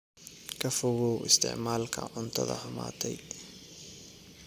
Ka fogow isticmaalka cuntada xumaatay.